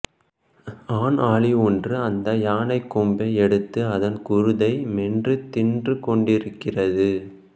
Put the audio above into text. ஆண் ஆளி ஒன்று அந்த யானைக்கொம்பை எடுத்து அதன் குருத்தை மென்று தின்றுகொண்டிருக்கிறது